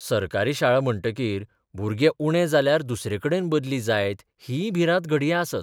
सरकारी शाळा म्हणटकीर भुरगे उणे जाल्यार दुसरेकडेन बदली जायत हीय भिरांत घडये आसत.